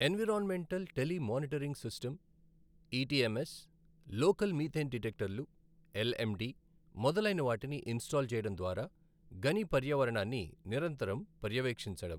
Environmental tele monitoring system, ETMS, local methane డిటెక్టర్లు, LMD, మొదలైన వాటిని ఇన్స్టాల్ చేయడం ద్వారా గని పర్యావరణాన్ని నిరంతరం పర్యవేక్షించడం.